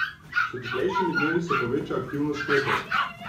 S toplejšimi dnevi se poveča aktivnost klopov.